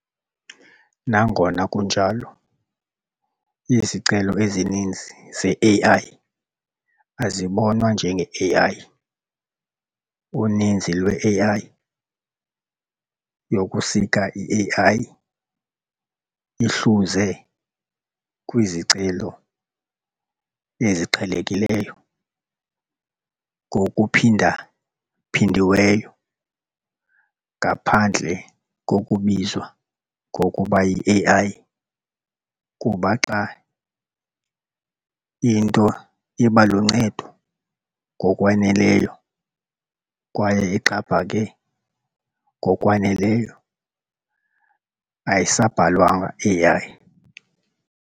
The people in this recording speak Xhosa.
Nangona kunjalo, izicelo ezininzi ze-AI azibonwa njenge-AI- "Uninzi lwe-AI yokusika i-AI ihluze kwizicelo eziqhelekileyo, ngokuphindaphindiweyo ngaphandle kokubizwa ngokuba yi-AI kuba xa into iba luncedo ngokwaneleyo kwaye ixhaphake ngokwaneleyo ayisabhalwanga AI ."